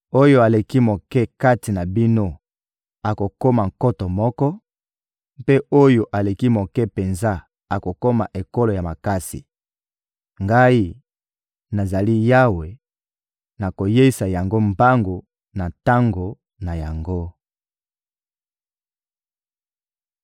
Oyo aleki moke kati na bino akokoma nkoto moko, mpe oyo aleki moke penza akokoma ekolo ya makasi. Ngai, nazali Yawe, nakoyeisa yango mbangu na tango na yango.»